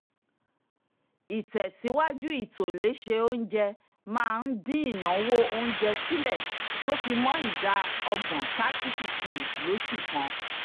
ìtẹ́síwájú ìtòléṣe oúnjẹ máa ń din ináwó oúnjẹ sílẹ̀ tó fi mọ́ ida ọgbọ́n thirty percent lósù kan